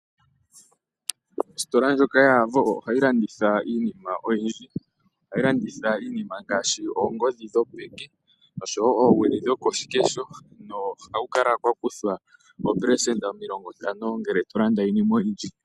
Ositola ndjoka yaAvo oha yi landitha iinima oyindji, oha yi landitha iinima ngaashi oongodhi dhopeke oshowo oowili dhokoshikesho noha kukala kwa kuthwa oopelesenda omilongo ntano ngele to landa iinima oyindji.